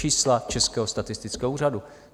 Čísla Českého statistického úřadu.